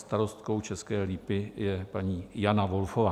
Starostkou České Lípy je paní Jana Volfová.